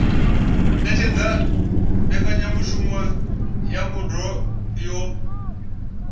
ṅetshedza mbekanyamushumo ya ngudo yo